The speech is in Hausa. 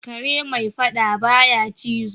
Kare mai fadda ba ya cizo.